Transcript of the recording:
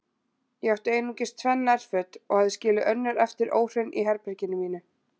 Ég átti einungis tvenn nærföt og hafði skilið önnur eftir óhrein í herberginu mínu.